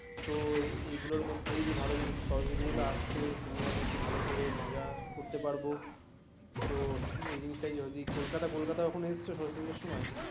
তো এইগুলোর মধ্যেই যে ভালো জিনিস গুলো ভালো যে সরস্বতী পুজোটা আসছে তুমি আমি একটু ভালো করে মজা করতে পারবো তো এই জিনিসটা যদি কোলকাতা, কোলকাতার ওখানে এসছো সরস্বতী পুজর সময়ে?